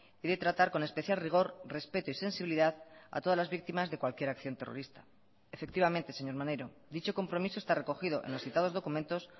y de tratar con especial rigor respeto y sensibilidad a todas las víctimas de cualquier acción terrorista efectivamente señor maneiro dicho compromiso está recogido en los citados documentos